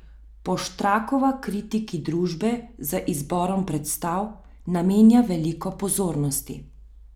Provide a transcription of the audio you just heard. Poštrakova kritiki družbe z izborom predstav namenja veliko pozornosti.